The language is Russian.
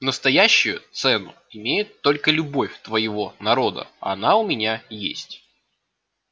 настоящую цену имеет только любовь твоего народа а она у меня есть